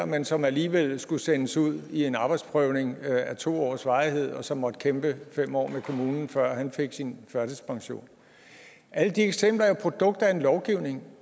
men som alligevel skulle sendes ud i en arbejdsprøvning af to års varighed og som måtte kæmpe fem år med kommunen før han fik sin førtidspension alle de eksempler er jo produkt af en lovgivning